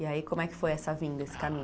E aí como é que foi essa vinda, esse caminho?